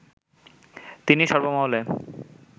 তিনি সর্বমহলে